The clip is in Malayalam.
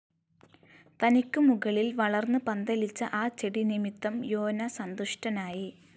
തനിക്ക് മുകളിൽ വളർന്ന് പന്തലിച്ച ആ ചെടി നിമിത്തം യോന സന്തുഷ്ടനായി